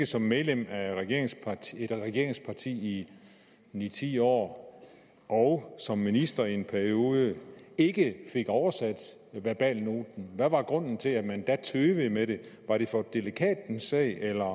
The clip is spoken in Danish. som medlem af et regeringsparti regeringsparti i ni ti år og som minister i en periode ikke fik oversat verbalnoten hvad var grunden til at man da tøvede med det var det for delikat en sag eller